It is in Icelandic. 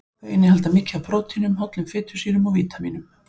Þau innihalda mikið af prótínum, hollum fitusýrum og vítamínum.